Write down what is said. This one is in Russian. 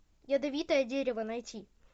ядовитое дерево найти